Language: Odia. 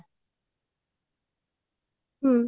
ହୁଁ